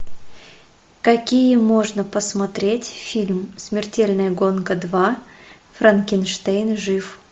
какие можно посмотреть фильм смертельная гонка два франкенштейн жив